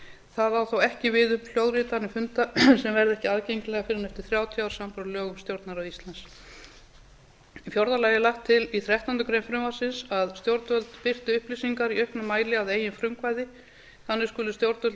það á þó ekki við um hljóðritanir funda sem verða ekki aðgengileg fyrr en eftir þrjátíu ár samanber lög um stjórnarráð íslands í fjórða lagi er lagt til í þrettándu greinar frumvarpsins að stjórnvöld birti upplýsingar í auknum mæli að eigin frumkvæði þannig skulu stjórnvöld